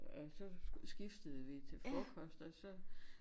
Og så skiftede vi til frokost og så